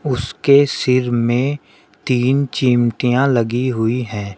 उसके सिर में तीन चिमटियां लगी हुई है।